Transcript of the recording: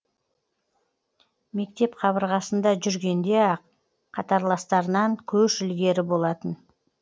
мектеп қабырғасында жүргенде ақ қатарластарынан көш ілгері болатын